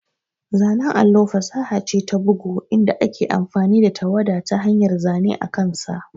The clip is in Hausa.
Zanen allo fasaha ce ta bugu inda ake amfani da tawada ta hanyar zane akansa.